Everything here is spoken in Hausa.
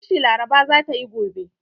ƙunshi Laraba za ta yi gobe.